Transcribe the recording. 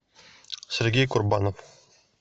сергей курбанов